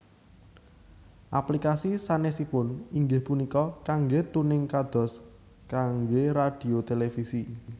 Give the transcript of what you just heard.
Aplikasi sanesipun inggih punika kangge tuning kados kangge radhio televisi